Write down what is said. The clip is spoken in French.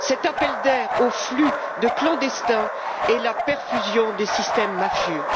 Cet appel d'air au flux de clandestins est la perfusion des systèmes mafieux.